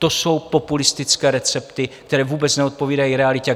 To jsou populistické recepty, které vůbec neodpovídají realitě.